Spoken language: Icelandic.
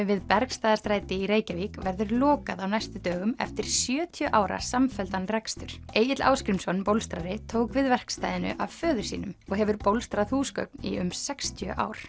við Bergstaðarstræði í Reykjavík verður lokað á næstu dögum eftir sjötíu ára samfelldan rekstur Egill Ásgrímsson tók við verkstæðinu af föður sínum og hefur bólstrað húsgögn í um um sextíu ár